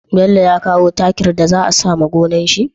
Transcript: Bello ya kawo takin da za a sawa gonar shi?